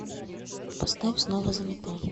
поставь снова занята